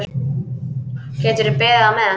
Geturðu beðið á meðan.